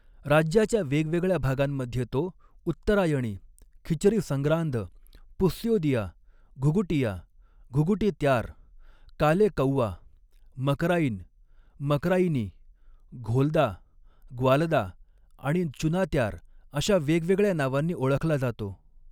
राज्याच्या वेगवेगळ्या भागांमध्ये तो उत्तरायणी, खिचरी संग्रांद, पुस्योदिया, घुघुटिया, घुगुटी त्यार, काले कौवा, मकराईन, मकराईनी, घोलदा, ग्वालदा आणि चुनात्यार, अशा वेगवेगळ्या नावांनी ओळखला जातो.